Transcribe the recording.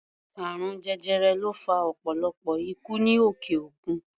Àrùn jẹjẹrẹ ló fa ọ̀pọ̀lọpọ̀ ikú ní òkè-òkun.